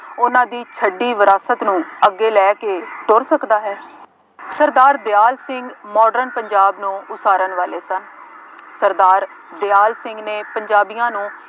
ਉਹਨਾ ਦੀ ਛੱਡੀ ਵਿਰਾਸਤ ਨੂੰ ਅੱਗੇ ਲੈ ਕੇ ਤੁਰ ਸਕਦਾ ਹੈ। ਸਰਦਾਰ ਦਿਆਲ ਸਿੰਘ modern ਪੰਜਾਬ ਨੂੰ ਉਸਾਰਨ ਵਾਲੇ ਸਨ। ਸਰਦਾਰ ਦਿਆਲ ਸਿੰਘ ਨੇ ਪੰਜਾਬੀਆਂ ਨੂੰ